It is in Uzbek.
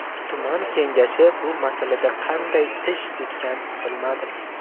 Tuman kengashi bu masalada qanday ish tutgan bilmadim.